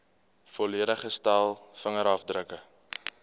volledige stel vingerafdrukke